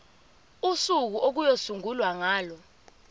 usuku okuyosungulwa ngalo